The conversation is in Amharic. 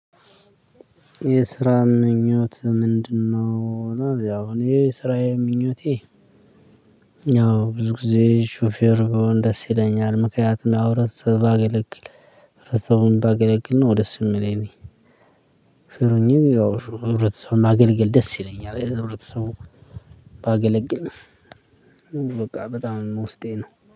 የስራ ምኞትህ ምንድነው? እኔ ስራዬ ምኞቴ ያው ብዙ ጊዜ ሹፌር ብሆን ደስ ይለኛል ምክንያቱም ህብረተሰቡን ባገለግል ደስ የሚለኝ ያው ሹፌር ሆኘ ህብረተሰብ ማገልገል ደስ ይለኛል የዛሬ የተኖረ ሰው ባገለግል ነው በቃ በጣም ውስጤ ነው